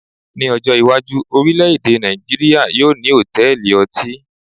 Ní ọjọ́ iwájú, orilẹ èdè Nàìjíría yóò ní hotẹẹli ọtí